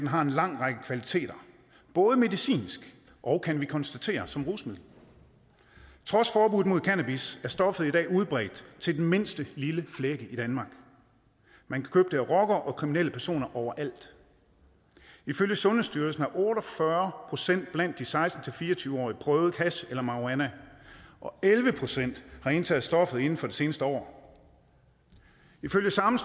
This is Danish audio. har en lang række kvaliteter både medicinsk og kan vi konstatere som rusmiddel trods forbuddet mod cannabis er stoffet i dag udbredt til den mindste lille flække i danmark man kan købe det af rockere og kriminelle personer overalt ifølge sundhedsstyrelsen har otte og fyrre procent blandt de seksten til fire og tyve årige prøvet hash eller marihuana og elleve procent har indtaget stoffet inden for det seneste år ifølge samme